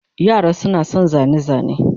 Yara suna son zane-zane.